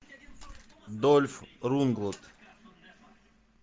дольф лундгрен